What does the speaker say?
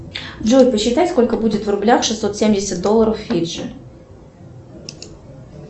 джой посчитай сколько будет в рублях шестьсот семьдесят долларов фиджи